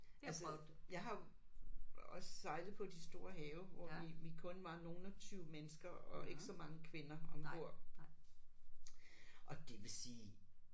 Altså jeg har jo også sejlet på de store have hvor vi vi kun var nogle af 20 mennesker og ikke så mange kvinder ombord. Og det vil sige